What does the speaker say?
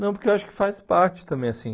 Não, porque eu acho que faz parte também assim.